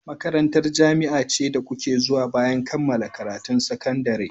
Makarantar jami'a ce da kuke zuwa bayan kammala karatun sakandare.